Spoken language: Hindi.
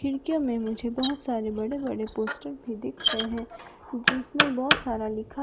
खिड़कियों में मुझे बहोत सारे बड़े बड़े पोस्टर भी देख रहे हैं जिसमें बहोत सारा लिखा--